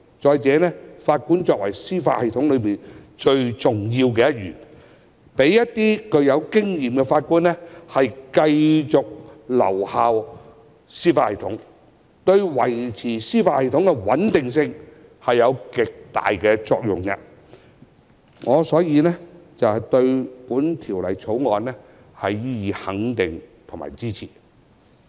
再者，法官為司法系統內最重要一員，讓一些具有經驗的法官繼續留效司法系統，對維持司法系統的穩定性有極大的作用，所以我對《條例草案》予以肯定及支持。